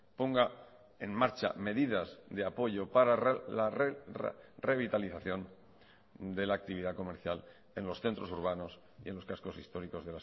ponga en marcha medidas de apoyo para la revitalización de la actividad comercial en los centros urbanos y en los cascos históricos